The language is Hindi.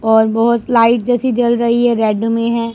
और बहुत लाइट जैसी जल रही है रेड में है।